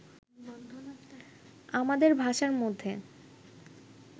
আমাদের ভাষার মধ্যে